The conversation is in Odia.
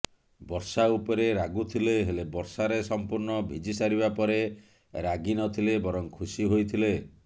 ବର୍ଷା ଉପରେ ରାଗୁଥିଲେ ହେଲେ ବର୍ଷାରେ ସମ୍ପୂର୍ଣ୍ଣ ଭିଜିସାରିବା ପରେ ରାଗିନଥିଲେ ବରଂ ଖୁସି ହୋଇଥିଲେ